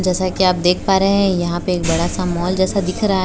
जैसा कि आप देख पा रहे हैं यहां पे एक बड़ा सा मॉल जैसा दिख रहा है।